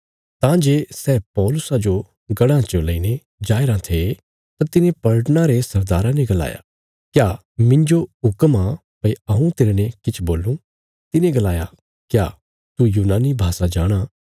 तां जे सै पौलुसा जो गढ़ां च लईने जायें राँ थे तां तिने पलटना रे सरदारा ने गलाया क्या मिन्जो हुक्म आ भई हऊँ तेरने किछ बोलूं तिने गलाया क्या तू यूनानी भाषा जाणाँ